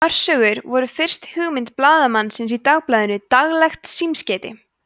örsögur voru fyrst hugmynd blaðamanninsins í dagblaðinu daglegt símskeiti